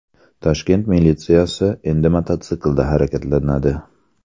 Toshkent militsiyasi endi mototsiklda harakatlanadi.